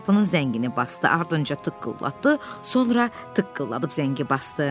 Qapının zəngini basdı, ardınca tıqqıllatdı, sonra tıqqılladıb zəngi basdı.